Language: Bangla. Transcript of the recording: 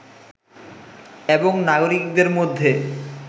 এবং নাগরিকদের মধ্যে